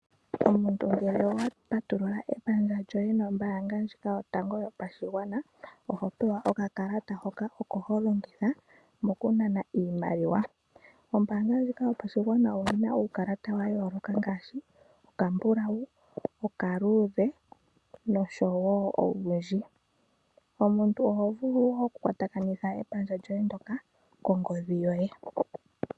Omuntu ngele owa patulula omayalulo goye nombaanga ndjika yotango yiopashigwana, oho pewa okakalata koye hoka ho longitha okunana iimaliwa. Ombaanga ndjika yopashigwana oyi na uukalata owundji wa yooloka ngaashi okambulau, okaluudhe nosho owundji. Omuntu oho vulu okukwatakanitha omayalulo goye ngoka kongodhi yoye.